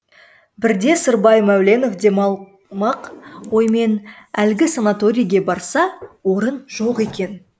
бірде сырбай мәуленов демалмақ оймен әлгі санаторийге барса орын жоқ екен